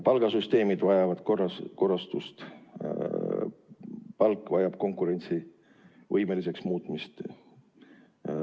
Palgasüsteemid vajavad korrastamist, palk vajab konkurentsivõimeliseks muutmist.